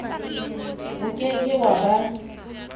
o ke ke wa ba